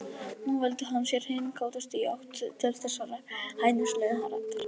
Nú velti hann sér hinn kátasti í átt til þessarar hæðnislegu raddar.